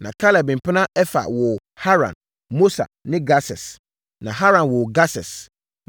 Na Kaleb mpena Efa woo Haran, Mosa ne Gases. Na Haran woo Gases.